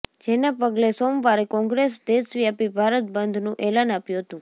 જેના પગલે સોમવારે કોંગ્રેસ દેશવ્યાપી ભારત બંધનું એલાન આપ્યું હતું